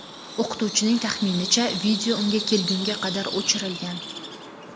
O‘qituvchining taxminicha, video unga kelgunga qadar o‘chirilgan.